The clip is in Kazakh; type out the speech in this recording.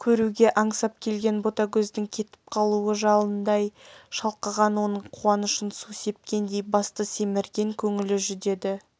көруге аңсап келген ботагөздің кетіп қалуы жалындай шалқыған оның қуанышын су сепкендей басты семірген көңілі жүдеді